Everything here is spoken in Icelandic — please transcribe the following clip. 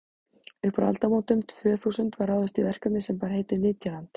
upp úr aldamótunum tvö þúsund var ráðist í verkefni sem bar heitið nytjaland